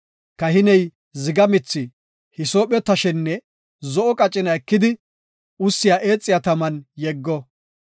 Kahiney ziga mithi, hisoophe tashenne zo7o qacina ekidi ussiya eexiya taman yeggo.